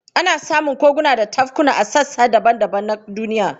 Ana samun koguna da tafkuna a sassa daban-daban na duniya.